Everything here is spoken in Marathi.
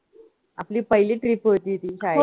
आपली पहिली trip होती ती शाळेत